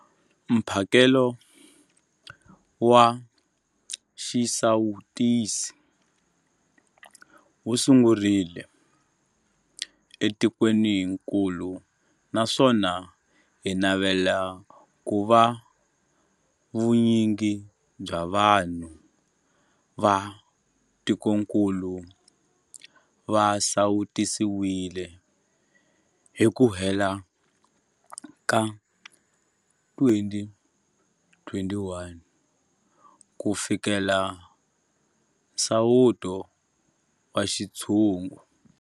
Mphakelo wa xisawutisi wu sungurile etikwenikulu naswona hi navela ku va vu nyingi bya vanhu va tikokulu va sawutisiwile hi ku hela ka 2021 ku fikelela nsawuto wa xintshungu.